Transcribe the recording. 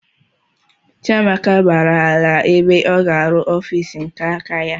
Chiamaka gbàrà ala ebe ọ ga-aru ọffici nke áká ya.